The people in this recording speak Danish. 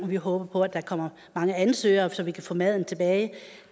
vi håber at der kommer mange ansøgere så vi kan få maden tilbage